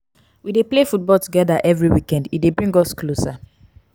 we dey play football togeda every weekend e dey bring us closer.